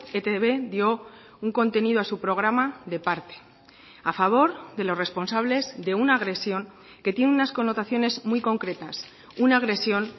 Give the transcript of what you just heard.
etb dio un contenido a su programa de parte a favor de los responsables de una agresión que tiene unas connotaciones muy concretas una agresión